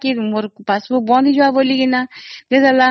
ଭାବିଲା ଯେ passbook ବନ୍ଦ ହୋଇ ଯିବ ବୋଲି